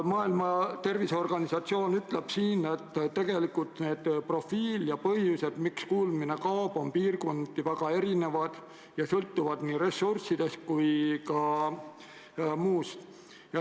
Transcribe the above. Maailma Terviseorganisatsioon väidab, et tegelikult põhjused, miks inimestel kuulmine kaob, on piirkonniti väga erinevad ja sõltuvad nii ressurssidest kui ka muust.